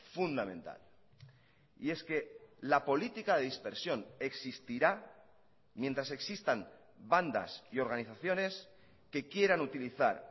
fundamental y es que la política de dispersión existirá mientras existan bandas y organizaciones que quieran utilizar